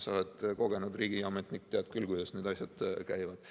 Sa oled kogenud riigiametnik, tead küll, kuidas need asjad käivad.